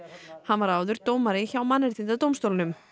hann var áður dómari hjá Mannréttindadómstólnum